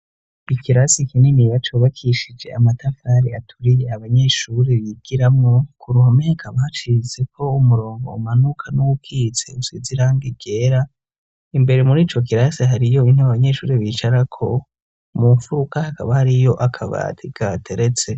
Ikirasi kininiya cubakishije amatafari aturiye abanyeshuri bigiramwo, ku ruhome hakaba hacitseko umurongo umanuka n'uwukitse usize irangi ryera, imbere muri ico kirasi hariyo intebe abanyeshuri bicarako, mu mfuruka hakaba hariyo akabati kahateretse.